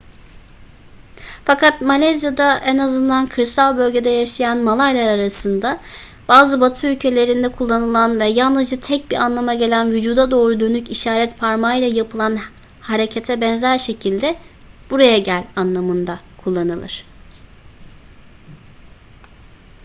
fakat malezya'da en azından kırsal bölgede yaşayan malaylar arasında bazı batı ülkelerinde kullanılan ve yalnızca tek bir anlama gelen vücuda doğru dönük işaret parmağıyla yapılan harekete benzer şekilde buraya gel anlamında kullanılır